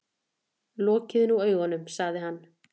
Lokiði nú augunum, sagði hann.